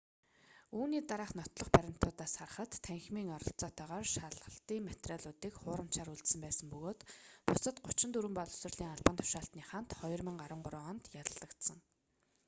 үүний дараах нотлох баримтуудаас харахад танхимын оролцоотойгоор шалгалтын материалуудыг хуурамчаар үйлдсэн байсан бөгөөд бусад 34 боловсролын албан тушаалтны хамт 2013 онд яллагдсан